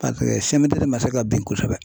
de ma se ka bin kosɛbɛ.